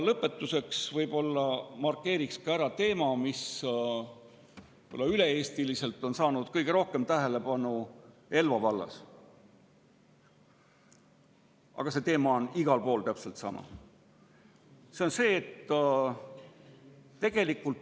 Lõpetuseks markeerin ära teema, mis on kõige rohkem tähelepanu saanud Elva vallas, aga see teema on üle Eesti igal pool täpselt sama.